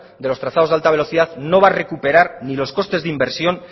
de los trazados de alta velocidad no va a recuperar ni los costes de inversión